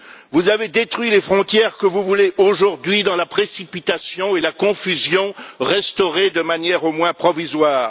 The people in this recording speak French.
Vous avez détruit les frontières que vous voulez, aujourd'hui, dans la précipitation et la confusion, restaurer de manière au moins provisoire.